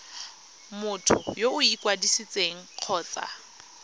motho yo o ikwadisitseng kgotsa